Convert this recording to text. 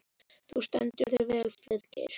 Þú stendur þig vel, Friðgeir!